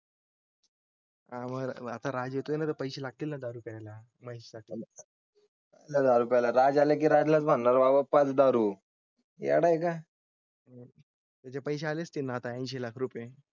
आवारा पैसे लागतील ना? दारू प्यायला नाही साठी. एक हजारराजाला की राज्यात होणार बाबा पाच दारू या नायका? त्याचे पैसे आले असते.